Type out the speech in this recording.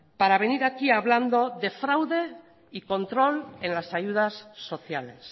para venir aquí hablando de fraude y control en las ayudas sociales